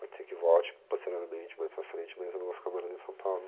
Pode ser que volte posteriormente, mais para frente, mas eu vou ficar morando em São Paulo.